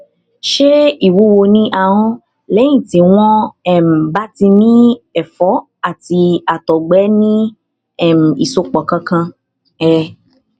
ṣé ìwúwo ní ahọn lẹyìn tí wọn um bá ti ní ẹfọ àti àtọgbẹ ní um ìsopọ kankan um